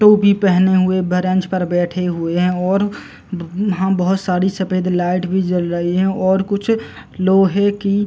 टोपी पहने हुए बरेंच पर बैठे हुए हैं और यहाँ बहोत सारी सफेद लाइट भी जल रही हैं और कुछ लोहे की --